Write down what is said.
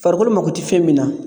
Farikolo mako ti fɛn min na